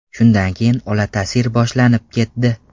Shundan keyin olatasir boshlanib ketdi.